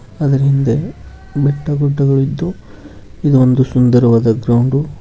ಆದ್ರ ಹಿಂದೆ ಬೆಟ್ಟ ಗುಡ್ಡಗಳಿದ್ದು ಇದು ಒಂದು ಸುಂದರವಾದ ಗ್ರೌಂಡು .